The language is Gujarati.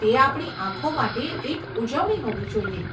તે આપણી આંખો માટે એક ઉજવણી હોવી જોઈએ.